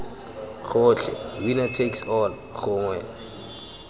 gotlhe winner takes all gongwe